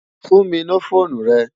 Fún mi no fónú rè